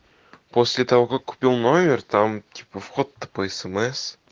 после того как купил номер там типа вход по смс